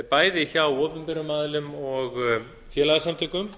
bæði hjá opinberum aðilum og félagasamtökum